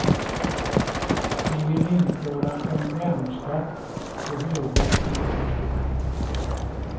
Vi vill införa en värnskatt på höga inkomster.